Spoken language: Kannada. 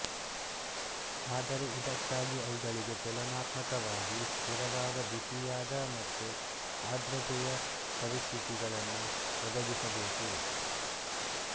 ಆದರೆ ಇದಕ್ಕಾಗಿ ಅವುಗಳಿಗೆ ತುಲನಾತ್ಮಕವಾಗಿ ಸ್ಥಿರವಾದ ಬಿಸಿಯಾದ ಮತ್ತು ಆರ್ದ್ರತೆಯ ಪರಿಸ್ಥಿತಿಗಳನ್ನು ಒದಗಿಸಬೇಕು